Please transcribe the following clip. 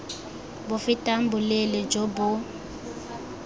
bo fetang boleele jo bo